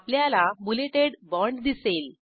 आपल्याला बुलेटेड बाँड दिसेल